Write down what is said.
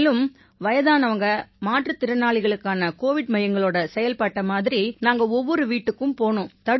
மேலும் வயதானவங்க மாற்றுத்திறனாளிகளுக்கான கோவிட் மையங்களோட செயல்பாட்டை மாதிரி நாங்க ஒவ்வொரு வீட்டுக்கும் போனோம்